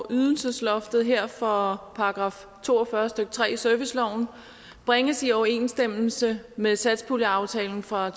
ydelsesloftet her for § to og fyrre stykke tre i serviceloven bringes i overensstemmelse med satspuljeaftalen fra